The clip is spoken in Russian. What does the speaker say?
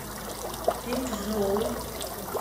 динчжоу